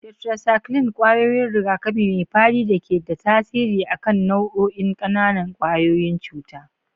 Tetracycline: Kwayoyin rigakafi mai fadi da ke da tasiri a kan nau'o'in ƙananan ƙwayoyin cuta.